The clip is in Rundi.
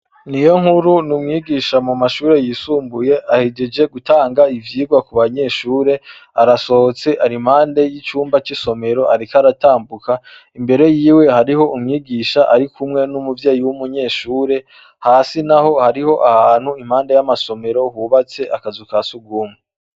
Niyonkuru n’umwigisha mumashure yisumbuye ahejeje gutanga ivyigwa kubanyeshure, arasohotse ari impande y’icumba c’isomero ariko aratambuka imbere hariho umwigisha ariko umwe n’umuvyeyi w’umunyeshure hasi naho hariho ahantu impande y’amasomero bubatse akazu ka sugumwe.